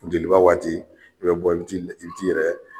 Funteliba waati i bɛ bɔ i bi t'i i bi t'i yɛrɛ